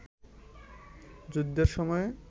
যুদ্ধের সময়ে